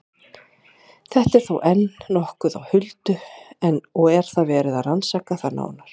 Þetta er þó enn nokkuð á huldu og er verið að rannsaka það nánar.